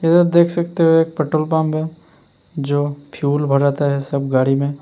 इध देख सकते हो एक पेट्रोल पंप हैं जो फ्यूल भराता है सब गाड़ी में।